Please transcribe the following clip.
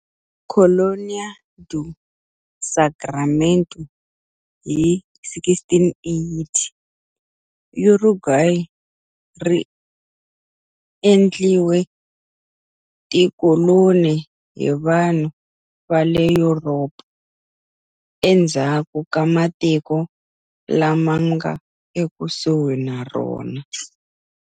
Colonia do Sacramento hi 1680, Uruguay ri endliwe tikoloni hi vanhu va le Yuropa endzhaku ka matiko lama nga ekusuhi na rona.